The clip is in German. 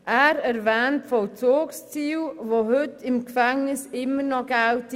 Er erwähnt Vollzugsziele, die heute im Gefängnis immer noch Geltung haben.